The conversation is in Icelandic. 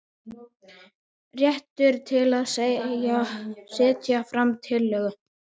Réttur til að setja fram tillögu.